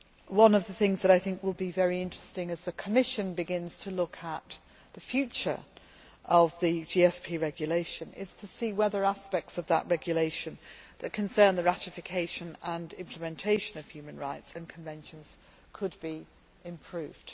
One of the things that I think will be very interesting as the Commission begins to look at the future of the GSP regulation is to see whether aspects of that regulation that concern the ratification and implementation of human rights and conventions could be improved.